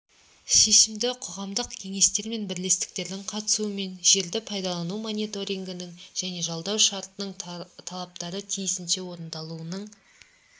шешімді қоғамдық кеңестер мен бірлестіктердің қатысуымен жерді пайдалану мониторингінің және жалдау шартының талаптарын тиісінше орындалуының